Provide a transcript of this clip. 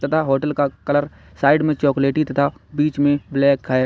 Hotel का colour side में चॉकलेटी तथा बीच में ब्लैक है।